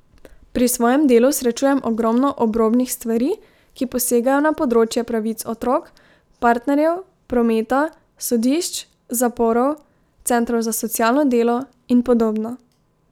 Pri svojem delu srečujem ogromno obrobnih stvari, ki posegajo na področje pravic otrok, partnerjev, prometa, sodišč, zaporov, centrov za socialno delo in podobno.